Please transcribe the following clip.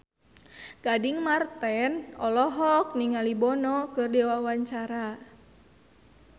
Gading Marten olohok ningali Bono keur diwawancara